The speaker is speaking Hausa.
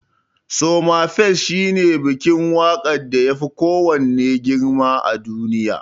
Somafest shine bikin waƙar da yafi kowanne girma a duniya.